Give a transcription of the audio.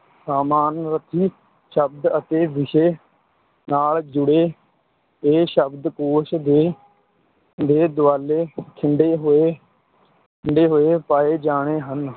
ਸਮਾਨਾਰਥੀ ਸ਼ਬਦ ਅਤੇ ਵਿਸ਼ੇ ਨਾਲ ਜੁੜੇ ਇਹ ਸ਼ਬਦਕੋਸ਼ ਦੇ ਦੇ ਦੁਆਲੇ ਖਿੰਡੇ ਹੋਏ, ਖਿੰਡੇ ਹੋਏ ਪਾਏ ਜਾਣੇ ਹਨ,